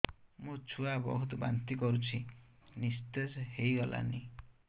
ମୋ ଛୁଆ ବହୁତ୍ ବାନ୍ତି କରୁଛି ନିସ୍ତେଜ ହେଇ ଗଲାନି